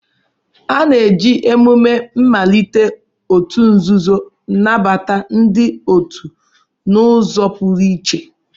A na-eji emume mmalite òtù nzuzo nabata ndị otu n'ụzọ pụrụ iche.